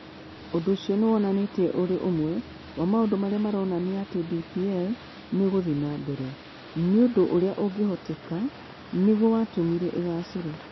Ũndũ ũcio nĩ wonanĩtio ũrĩ ũmwe wa maũndũ marĩa maronania atĩ DPL nĩ ĩgũthiĩ na mbere, na ũndũ ũrĩa ũngĩhoteka nĩguo watũmire ĩgaacĩre.